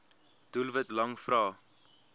doelwit lang vrae